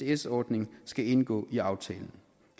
isds ordning skal indgå i aftalen